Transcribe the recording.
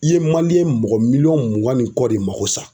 I ye mɔgɔ miliyɔn mugan ni kɔ de mako sa.